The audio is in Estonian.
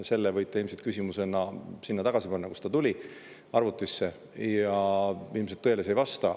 Selle võite küsimusena sinna tagasi panna, kust ta tuli – arvutisse –, ilmselt tõele see ei vasta.